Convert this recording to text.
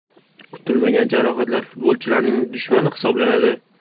Kutilmagan jarohatlar futbolchilarning dushmani hisoblanadi.